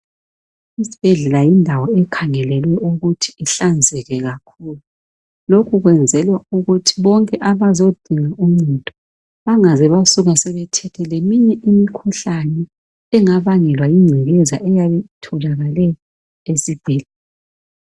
Isibhedlela yindawo ekhangelelwe ukuthi ihlanzeke kakhulu lokhu kwenzelwa ukuthi bonke abazodinga uncedo bangaze basuka sebethethe leminye imikhuhlane engabangelwa yingcekeza eyabe itholakale esibhedlela.